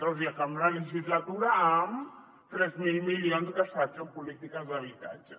o sigui acabar la legislatura amb tres mil milions gastats en polítiques d’habitatge